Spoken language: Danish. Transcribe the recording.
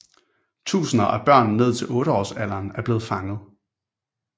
Tusinder af børn ned til otteårsalderen er blevet fanget